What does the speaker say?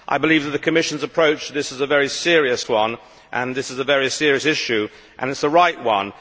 I believe that the Commission's approach to this is very serious this is a very serious issue and it is the right one.